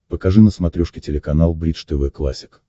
покажи на смотрешке телеканал бридж тв классик